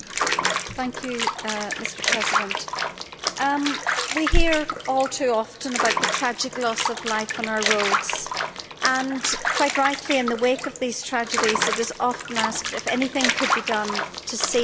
Mr President, we hear all too often about the tragic loss of life on our roads and quite rightly in the wake of these tragedies it is often asked whether anything could have been done to save that life which was lost.